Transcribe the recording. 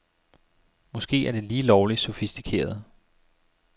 Måske er det lige lovligt sofistikeret.